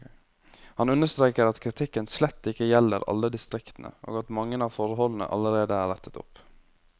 Han understreker at kritikken slett ikke gjelder alle distriktene, og at mange av forholdene allerede er rettet opp.